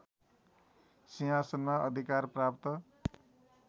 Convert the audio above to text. सिंहासनमा अधिकार प्राप्त